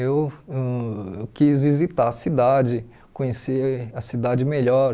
Eu ãh quis visitar a cidade, conhecer a cidade melhor.